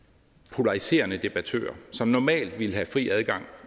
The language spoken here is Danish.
polariserende debattører som normalt ville have fri adgang